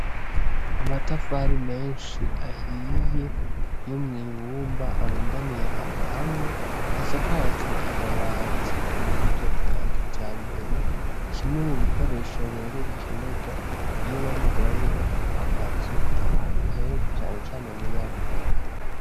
Amatafari menshi ahiye yo mw'ibumba arundaniye ahantu hamwe, hasakajwe amabati muburyo bwa kijambere, kimwe mubikoresho rero bikenerwa iyo bariko barubaka amazu ahantu henshi canecane muri afurika.